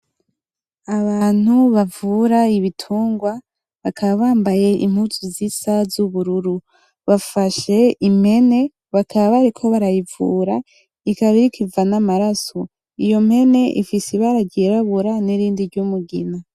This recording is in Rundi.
Abantu bavura ibitungwa bakaba bambaye impuzu zisa z'ubururu, bafashe impene bakaba bariko barayivura, ikaba iriko iva n'amaraso. Iyo mpene ifise ibara ry'irabura nirindi ry'umugina.